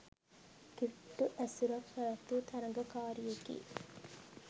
කිට්ටු ඇසුරක් පැවැත්වූ තරගකාරියකි